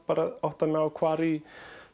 og átta mig á hvar í